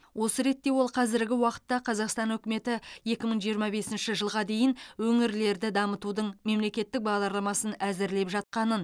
осы ретте ол қазіргі уақытта қазақстан үкіметі екі мың жиырма бесінші жылға дейін өңірлерді дамытудың мемлекеттік бағдарламасын әзірлеп жатқанын